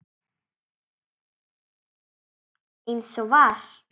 Eins og var.